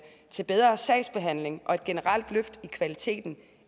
til bedre sagsbehandling og et generelt løft af kvaliteten